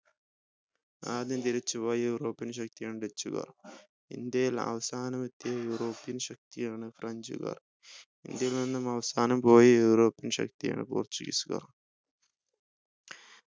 ആദ്യം തിരിച്ചുപോയ european ശക്തിയാണ് dutch ഉകാർ ഇന്ത്യയിൽ അവസാനം എത്തിയ european ശക്തിയാണ് french കാർ ഇന്ത്യയിൽ നിന്ന് അവസാനം പോയ european ശക്തിയാണ് portuguese കാർ